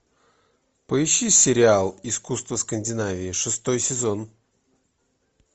поищи сериал искусство скандинавии шестой сезон